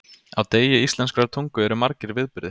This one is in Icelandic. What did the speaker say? Á degi íslenskrar tungu eru margir viðburðir.